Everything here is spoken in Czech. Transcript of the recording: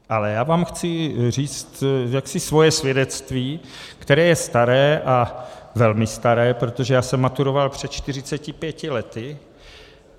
Ale já vám chci říct jaksi svoje svědectví, které je staré, a velmi staré, protože já jsem maturoval před 45 lety.